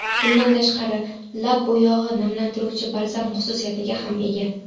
Bundan tashqari, lab bo‘yog‘i namlantiruvchi balzam xususiyatiga ham ega.